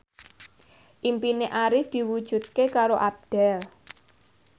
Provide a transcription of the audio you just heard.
impine Arif diwujudke karo Abdel